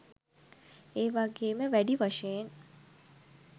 එවගේම වැඩි වශයෙන්